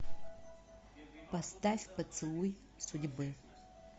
поставь поцелуй судьбы